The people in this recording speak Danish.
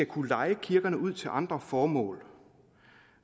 kunne leje kirkerne ud til andre formål